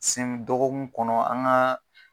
Sen dɔgɔkun kɔnɔ an ka.